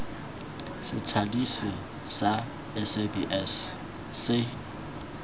sa thadiso sa sabs se